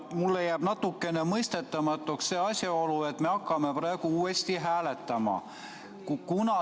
Mulle jääb natuke mõistetamatuks see asjaolu, et me hakkame praegu uuesti hääletama.